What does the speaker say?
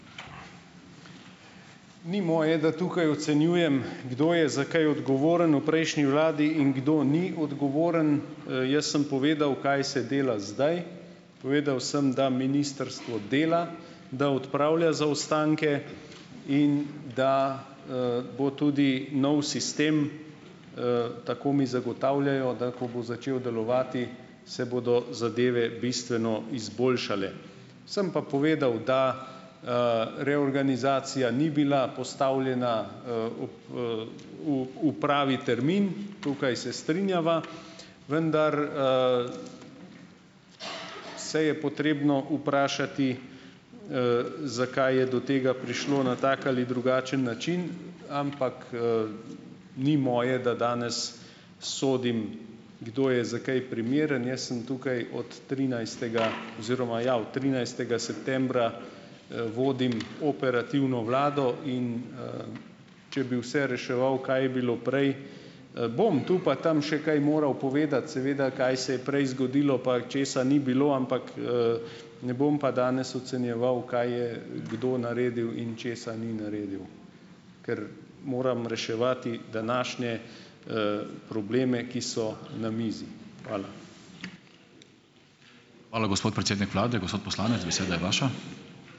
Ni moje, da tukaj ocenjujem, kdo je za kaj odgovoren v prejšnji vladi in kdo ni odgovoren. Jaz sem povedal, kaj se dela zdaj. Povedal sem, da ministrstvo dela, da odpravlja zaostanke in da, bo tudi novi sistem, tako mi zagotavljajo, da, ko bo začel delovati, se bodo zadeve bistveno izboljšale. Sem pa povedal, da, reorganizacija ni bila postavljena, v, v, v pravi termin - tukaj se strinjava - vendar, se je potrebno vprašati, zakaj je do tega prišlo na tak ali drugačen način, ampak, ni moje, da danes sodim, kdo je za kaj primeren. Jaz sem tukaj od trinajstega oziroma, ja, od trinajstega septembra, vodim operativno vlado, in, če bi vse reševal, kaj je bilo prej, bom tu pa tam še kaj moral povedati, seveda, kaj se je prej zgodilo, pa česa ni bilo, ampak, ne bom pa danes ocenjeval, kaj je, kdo naredil in česa ni naredil, ker moram reševati današnje, probleme, ki so na mizi. Hvala.